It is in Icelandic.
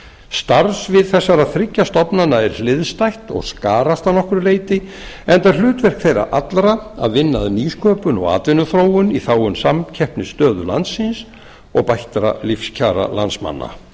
starf svið þessara þriggja stofnana er hliðstætt og skarast að nokkru leyti enda er hlutverk þeirra allra að vinna að nýsköpun og atvinnuþróun í þágu samkeppnisstöðu landsins og bættra lífskjara landsmanna